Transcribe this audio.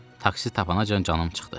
Taksi tapanacan canım çıxdı.